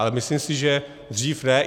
Ale myslím se, že dřív ne.